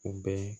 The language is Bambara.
U bɛ